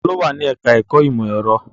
Ta ló wà ní ẹ̀ká ẹ̀kọ́ ìmọ̀ ẹ̀rọ?